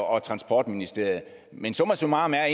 og transportministeriet men summa summarum er